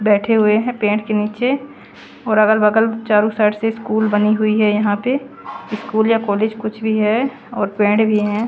बैठे हुए हैं पेड के नीचे और अगल बगल चारों साइड से स्कूल बनी हुई है यहां पे स्कूल या कॉलेज कुछ भी है और पेड़ भी हैं।